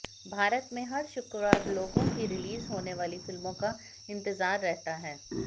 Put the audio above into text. भारत में हर शुक्रवार लोगों की रिलीज होने वाली फिल्मों का इंतजार रहता है